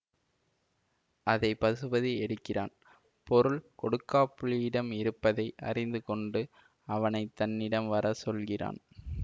அதை பசுபதி எடுக்கிறான் பொருள் கொடுக்காப்புளியிடம் இருப்பதை அறிந்து கொண்டு அவனை தன்னிடம் வர சொல்கிறான்